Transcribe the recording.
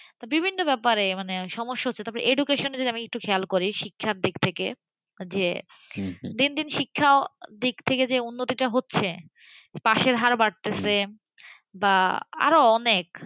বিভিন্ন ব্যাপারে সমস্যা হচ্ছেতারপর education যদি আমি খেয়াল করি, শিক্ষার দিক থেকে যে দিনদিন শিক্ষা দিক থেকে যে উন্নতি টা হচ্ছে, পাশের হার বাড়তেছে বা আরো অনেক,